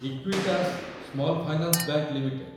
Equitas small finance bank limited